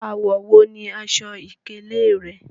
Awọ wo ni aṣọ-ìkéle rẹ?